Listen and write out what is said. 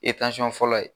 fɔlɔ ye